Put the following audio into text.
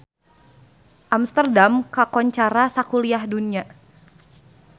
Amsterdam kakoncara sakuliah dunya